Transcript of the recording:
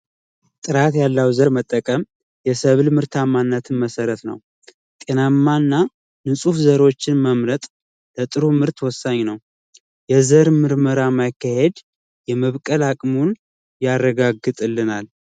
ጥራት ያለው ዘር መጠቀም የሰብአዊ ምርታማነትን መሠረት ነው ጤናማናችን መምረጥሮ ምርት ወሳኝ ነው ምርመራ ማካሄድ አቅሙን ያረጋግጥልናል